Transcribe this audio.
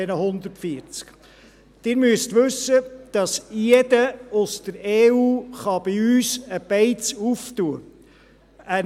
Sie müssen wissen, dass jeder aus der EU bei uns eine Beiz eröffnen kann.